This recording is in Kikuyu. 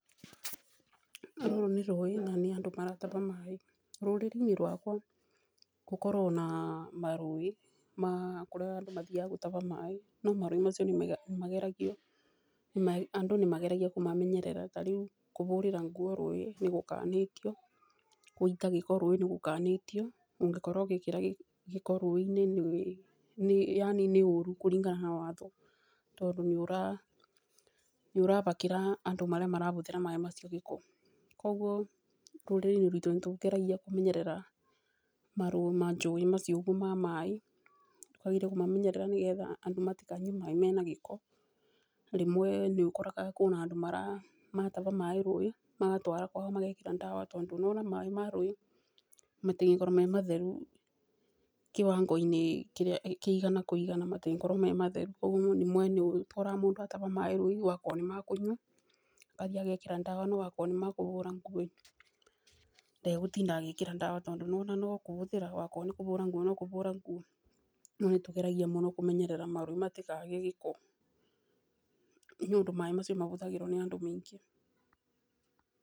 Rũrũ nĩ rũĩ na nĩandũ marataha maĩ, rũrĩrĩini rũakwa gũkorwo na marũĩ ma kũrĩa andũ mathiaga gũtaha maĩ no marũĩ macio andũ nĩmageragia kũmamenyerera tarĩũ kũhũrĩra nguo rũĩ nĩgũkanĩtio, gũita maĩ rũĩ nĩgũkanĩtio, ũkĩkora ũgĩkia gĩko rũĩinĩ yaani nĩ ũũru kũringana na watho tondũ, nĩũrahakĩra andũ arĩa marahũthĩra maĩ macio gĩko, kwoguo rũrĩrĩinĩ rũitũ nĩtũgeragia kũmenyerera majũĩ macio ma maĩ, wageria kũmamenyerera nĩgetha andũ matikanyue maĩ menagĩko, rĩmwe nĩũkoraga kwĩna andũ marataha maĩ rũĩ, magatwara kwao magekĩra ndawa tondũ nĩwona maĩ ma rũĩ matĩngĩkorwa mematheru kĩwangoinĩ kĩria kĩigana kũigana matengĩkorwo mematheru, kwoguo rĩmwe nĩũgĩkoraga mũndũ ataha maĩ angĩkorwo nĩmaakũnyua akathi agekĩra ndawa, ona wakorwo nĩmakũhũra nguo ndegũtinda egĩkĩra ndawa tondũ nowona nokũhũthĩra nokũhũra nguo, rĩũ nĩtũmenya mũno kũmenyerera marũĩ matĩkagĩe gĩko nĩũndũ maĩ macio mahũthagĩrwo nĩandũ maingĩ.